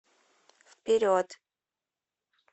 вперед